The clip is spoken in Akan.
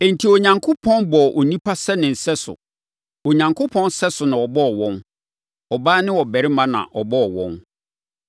Enti, Onyankopɔn bɔɔ onipa sɛ ne sɛso; Onyankopɔn sɛso so na ɔbɔɔ wɔn; ɔbaa ne ɔbarima na ɔbɔɔ wɔn.